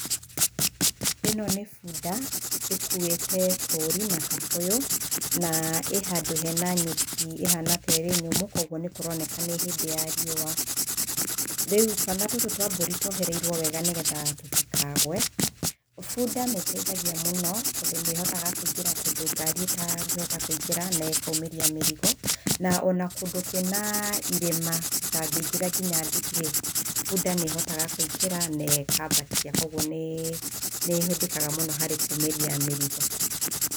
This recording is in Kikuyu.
Ĩno nĩ bunda ĩkuĩte tũri na kabũyũ na ĩ handũ he na nyeki ĩhana ta ĩrĩ nyũmũ, kũoguo nĩ kũroneka nĩ hĩndĩ ya riũa. Rĩu, twana tũtũ twa mbũri twohereirwo wega nĩ getha tũtikagwe. Bunda nĩ ĩteithagia mũno tondũ nĩ ĩingagĩra kũndũ ngari ĩtangĩhota kũingĩra na ĩkaumĩria mĩrigo. Na ona kndũ kwĩna irĩma gũtangĩingĩra o na nduthi-rĩ, bunda nĩ ĩhotaga kũingĩra na ĩkambatia, kwoguo nĩĩ ĩhũthĩkaga mũno harĩ kuumĩria mĩrigo.